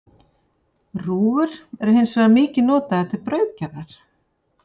Rúgur eru hins vegar mikið notaðar til brauðgerðar.